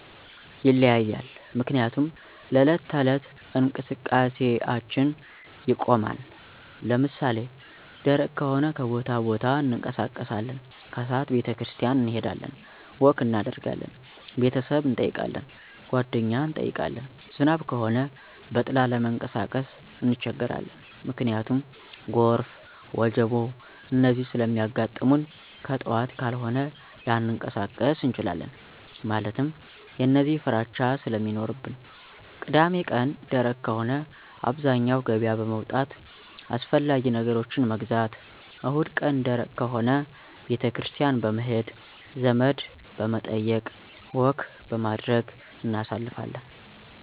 ይለያያል ምክንያቱም ለዕለት ተዕለት እንቀስቃሴአችን ይቆማን። ለምሳሌ ደረቅ ከሆነ ከቦታቦታ እንቀሳቀሳለን። ከስዓት ቤተክርስቲያን እንሄዳለን፣ ወክ እናደርጋለን፣ ቤተሰብ እንጠይቃለን፣ ጓደኛ እንጠይቃለን። ዝናብ ከሆነ በጥላ ለመንቀሳቀስ እንቸገራለን። ምክንያቱም ጎርፍ፣ ወጀቦ፣ እነዚህ ስለሚያጋጥሙንከጥዋት ካልሆነ ላንቀሳቀስ እንችላለን። ማለትም የእነዚህ ፍራቻ ስለሚኖርብን። ቅዳሜቀን ደረቅ ከሆነ አብዛኛው ገበያ በመዉጣት አስፈላጊ ነገሮችን መግዛት። እሁድቀን ደረቅ ከሆነ ቤተክርስቲያን በመሄድ፣ ዘመድበመጠየቅ፣ ወክበማድረግ እናሳልፋለን።